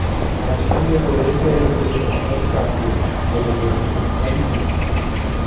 Wach maliekore seyo piny Amerika kuom kelo dondi madhinyime.